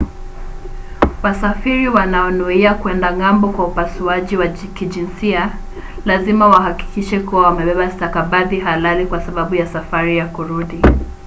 wasafiri wanaonuia kwenda ng'ambo kwa upasuaji wa kijinsia lazima wahakikishe kuwa wamebeba stakabadhi halali kwa sababu ya safari ya kurudi